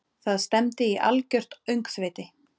Það stefndi í algjört öngþveiti.